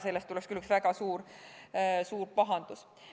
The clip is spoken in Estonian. Sellest tuleks küll väga suur pahandus.